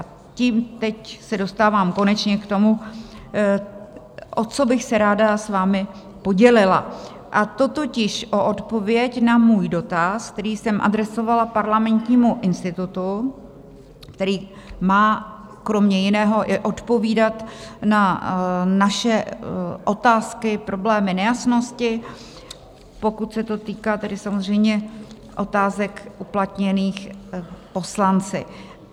A tím se teď dostávám konečně k tomu, o co bych se ráda s vámi podělila, a to totiž o odpověď na můj dotaz, který jsem adresovala Parlamentnímu institutu, který má kromě jiného i odpovídat na naše otázky, problémy, nejasnosti, pokud se to týká tedy samozřejmě otázek uplatněných poslanci.